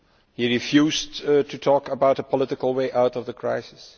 He refused to talk about a political way out of the crisis.